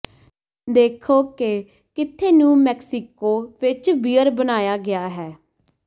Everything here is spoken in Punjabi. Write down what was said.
ਦੇਖੋ ਕਿ ਕਿੱਥੇ ਨਿਊ ਮੈਕਸੀਕੋ ਵਿਚ ਬੀਅਰ ਬਣਾਇਆ ਗਿਆ ਹੈ